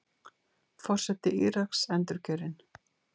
Forseti Íraks endurkjörinn